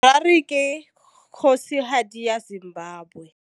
Harare ke kgosigadi ya Zimbabwe.